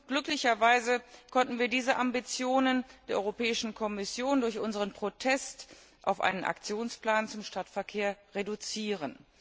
Glücklicherweise konnten wir diese Ambitionen der Europäischen Kommission durch unseren Protest auf einen Aktionsplan zum Stadtverkehr reduzieren.